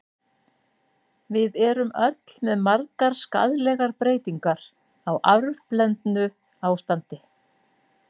Við erum öll með margar skaðlegar breytingar, á arfblendnu ástandi.